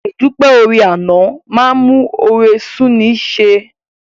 Àìdúpẹ́ oore àná a máa mú oore sú'ni í ṣe.